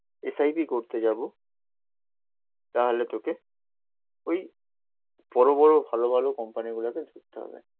S I P করতে যাবো তাহলে তোকে ওই বড়ো বড়ো ভালো ভালো কোম্পানি গুলোকে ধরতে হবে